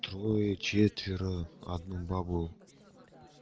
трое четверо одну бабу